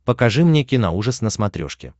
покажи мне киноужас на смотрешке